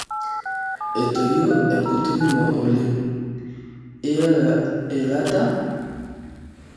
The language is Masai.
Etoyio enkutuk ino oleng iela eilata.